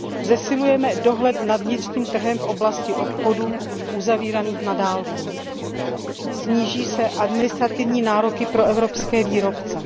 Zesílí se dohled nad vnitřním trhem v oblasti obchodů uzavíraných na dálku a sníží se administrativní nároky pro evropské výrobce.